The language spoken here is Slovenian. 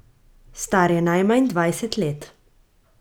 Star je najmanj dvajset let.